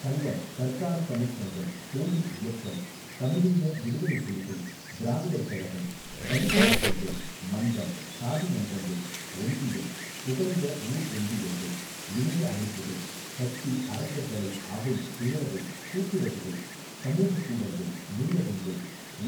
சங்கம் தற்கால தமிழ்ச் சங்கம் கோயில் இயக்கம் தமிழீழ விடுதலைப் புலிகள் திராவிடர் கழகம் தலித் இயக்கங்கள் மன்றம் சாதி மன்றங்கள் ஒன்றியம் புகலிட ஊர் ஒன்றியங்கள் இணைய அமைப்புகள் கட்சி அறக்கட்டளை அவை பேரவை கூட்டுறவுகள் சமூகக் கூடங்கள் நூலகங்கள்